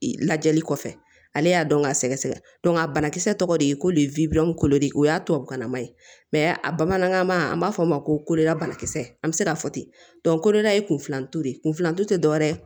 Lajɛli kɔfɛ ale y'a dɔn k'a sɛgɛsɛgɛ a banakisɛ tɔgɔ de ye ko de ye ko de o y'a tubabukan nama ye a bamanankan ma an b'a fɔ o ma ko la banakisɛ an bɛ se k'a fɔ ten kodeda ye kunfilanto ye kunflantu te dɔwɛrɛ